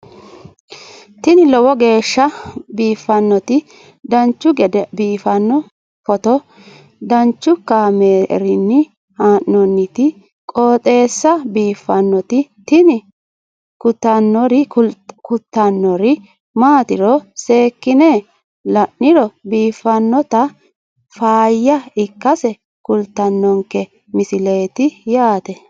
tini lowo geeshsha biiffannoti dancha gede biiffanno footo danchu kaameerinni haa'noonniti qooxeessa biiffannoti tini kultannori maatiro seekkine la'niro biiffannota faayya ikkase kultannoke misileeti yaate